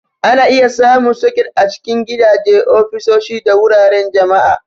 Ana iya samun soket a cikin gidaje, ofisoshi, da wuraren jama'a.